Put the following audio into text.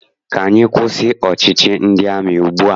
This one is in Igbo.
Ka anyị kwụsị ọchịchị ndị amị ugbua!